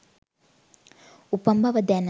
උපන් බව දැන